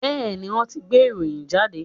Bẹ́ẹ̀ni, wọ́n ti gbé ìròyìn jáde